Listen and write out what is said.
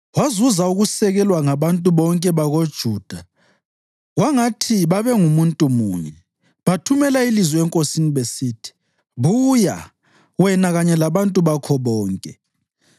Wazuza ukusekelwa ngabantu bonke bakoJuda kwangathi babengumuntu munye. Bathumela ilizwi enkosini besithi, “Buya, wena kanye labantu bakho bonke.”